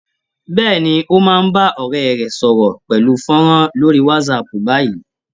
Bẹ́ẹ̀ni, ó máa bá ọ̀rẹ́ rẹ̀ sọ̀rọ̀ pẹ̀lú fọ́nrán lórí Whatsapp báyìí